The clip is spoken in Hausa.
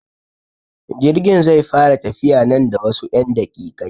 Jirgin zai fara tafiya nan da wasu 'yan daƙiƙai.